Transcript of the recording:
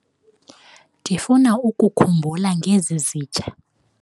Ndifuna ukukhumbula ngezi zitya.